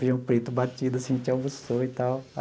Feijão preto batido assim, a gente almoçou e tal.